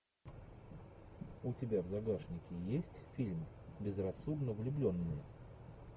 у тебя в загашнике есть фильм безрассудно влюбленные